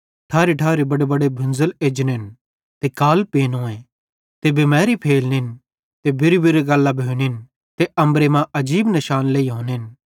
ठारीठारी बडेबडे भुंज़ल एजनेन ते काल पेनोए ते बिमारी फैलनिएं ते बुरीबुरी गल्लां भोनिन ते अम्बरे मां आजीब निशान लेइहोनेन